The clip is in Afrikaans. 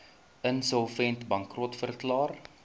insolvent bankrot verklaar